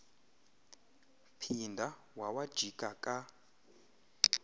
phinda wawajika ka